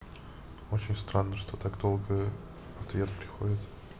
очень странно что так долго ответ приходит